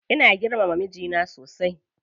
Ina girmama mijina sosai.